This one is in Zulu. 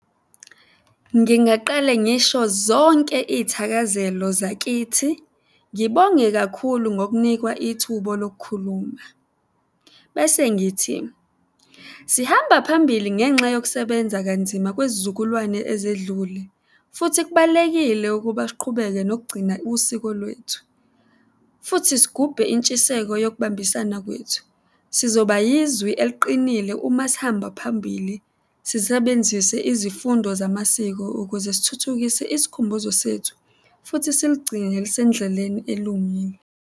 Ngingaqale ngisho zonke iy'thakazelo zakithi, ngibonge kakhulu ngokunikwa lokukhuluma. Bese ngithi, sihamba phambili ngenxa yokusebenza kanzima kwezizukulwane ezedlule, futhi kubalulekile ukuba siqhubeke nokugcina usiko lwethu, futhi sigubhe intshiseko yokubambisana kwethu. Sizoba yizwi eliqinile uma sihamba phambili, sisebenzise izifundo zamasiko ukuze sithuthukise isikhumbuzo sethu futhi siligcine lisendleleni elungile.